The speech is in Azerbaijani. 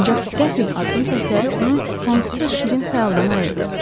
Ancaq qəfil addım səsləri onu hansısa şirin xəyaldan ayırdı.